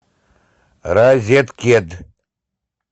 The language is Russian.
розеткед